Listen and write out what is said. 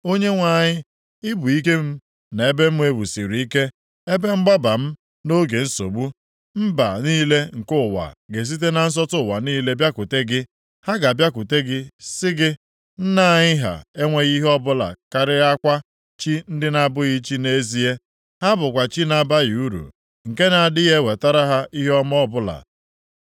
Onyenwe anyị, ị bụ ike m na ebe m e wusiri ike, ebe mgbaba m nʼoge nsogbu. Mba niile nke ụwa ga-esite na nsọtụ ụwa niile bịakwute gị. Ha ga-abịakwute gị sị gị, “Nna anyị ha enweghị ihe ọbụla karịakwa chi ndị na-abụghị chi nʼezie. Ha bụkwa chi na-abaghị uru, nke na-adịghị ewetara ha ihe ọma ọbụla.”